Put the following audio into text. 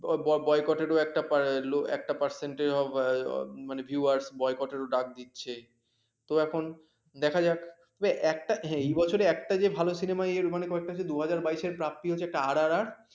boycot একটা percent মানে viewers boycott ডাক দিচ্ছে তো এখন দেখা যাক এই বছর একটা আছে ভালো cinema যে মানে কয়েকটা দুই হাজার বাইস এ প্রাপ্তি হচ্ছে একটা আর আর আর